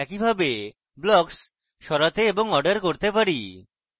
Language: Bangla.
এইভাবে blocks সরাতে এবং order করতে পারি